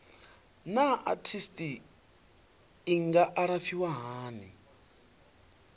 naa arthritis i nga alafhiwa hani